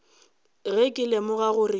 ge ke lemoga gore ke